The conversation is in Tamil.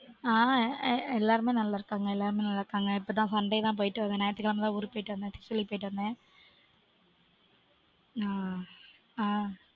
ஆஹ் எல்லாருமே நல்லா இருக்காங்க எல்லாருமே நல்லா இருக்காங்க இப்போதா sunday -தா போய்ட்டு வந்தேன் ஞாயித்து கிழமைதா ஊருக்கு போயிட்டு வந்தேன் school -க்கு போயிட்டு வந்தேன்